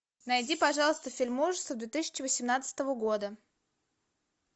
найди пожалуйста фильм ужасов две тысячи восемнадцатого года